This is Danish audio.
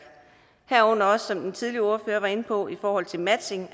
herunder også som den tidligere ordfører var inde på i forhold til matching